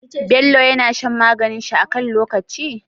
Bello yAna shan maganin shi akan lokaci?